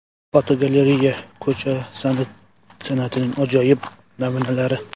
Fotogalereya: Ko‘cha san’atining ajoyib namunalari.